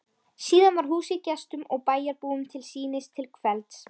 Síðan var húsið gestum og bæjarbúum til sýnis til kvelds.